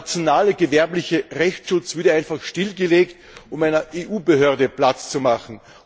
Der nationale gewerbliche Rechtsschutz würde einfach stillgelegt, um einer EU Behörde Platz zu machen.